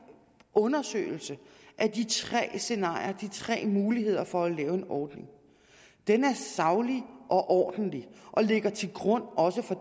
undersøgelse af de tre scenarier de tre muligheder for at lave en ordning er saglig og ordentlig og ligger til grund også for